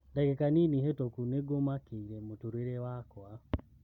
Ndagika nini hetũku nĩngũmakĩire mũtũrĩre wakwa.